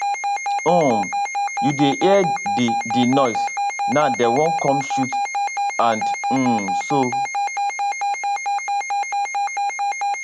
um you dey hear di di noise now dem wan come shoot and um soo